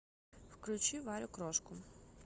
включи варю крошку